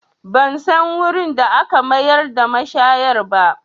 Ban san wurin da aka mayar da mashayar ba